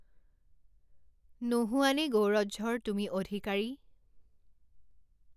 নোহোৱানে গৌৰঝৰ তুমি অধিকাৰী?